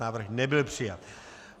Návrh nebyl přijat.